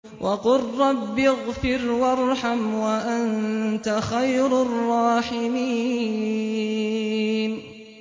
وَقُل رَّبِّ اغْفِرْ وَارْحَمْ وَأَنتَ خَيْرُ الرَّاحِمِينَ